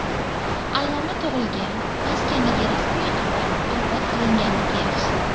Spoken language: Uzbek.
Alloma tug‘ilgan maskandagi ramziy qabr obod qilinganligi yaxshi.